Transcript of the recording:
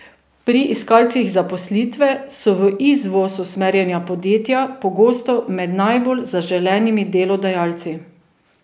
Pri iskalcih zaposlitve so v izvoz usmerjena podjetja pogosto med najbolj zaželenimi delodajalci.